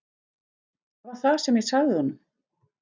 Það var það sem ég sagði honum.